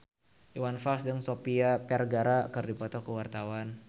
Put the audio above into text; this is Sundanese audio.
Iwan Fals jeung Sofia Vergara keur dipoto ku wartawan